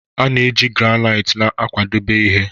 A na-eji Granite na-akwadebe ihe